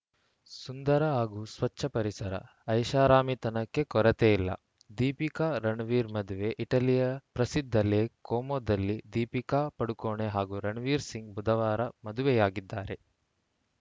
ಸುಂದರ ಹಾಗೂ ಸ್ವಚ್ಛ ಪರಿಸರ ಐಷಾರಾಮಿತನಕ್ಕೆ ಕೊರತೆಯಿಲ್ಲ ದೀಪಿಕಾ ರಣವೀರ್‌ ಮದುವೆ ಇಟಲಿಯ ಪ್ರಸಿದ್ಧ ಲೇಕ್‌ ಕೋಮೋದಲ್ಲಿ ದೀಪಿಕಾ ಪಡುಕೋಣೆ ಹಾಗೂ ರಣವೀರ್‌ ಸಿಂಗ್‌ ಬುಧವಾರ ಮದುವೆಯಾಗಿದ್ದಾರೆ